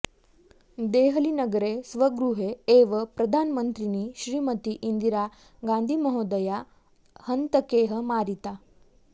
देहलीनगरे स्वगृहे एव प्रधानमन्त्रिणी श्रीमती इन्दिरा गान्धिमहोदया हन्तकैः मारिता